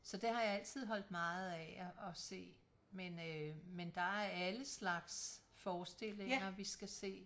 Så det har jeg altid holdt meget af at se men øh men der er alle slags forestillinger vi skal se